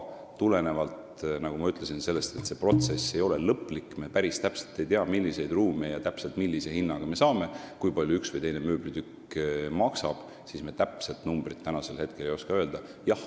Aga nagu ma ütlesin, kuna see protsess ei ole veel lõplik, st me ei tea päris täpselt, milliseid ruume me millise hinnaga saame või kui palju üks või teine mööblitükk maksab, siis me ei oska praegu täpset numbrit öelda.